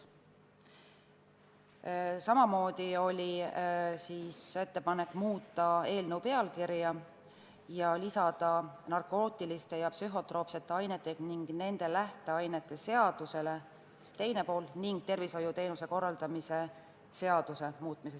Samamoodi oli ettepanek muuta eelnõu pealkirja ja pärast sõnu "narkootiliste ja psühhotroopsete ainete ning nende lähteainete seadusele" lisada sõnad "ja tervishoiuteenuste korraldamise seaduse".